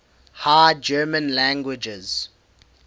high german languages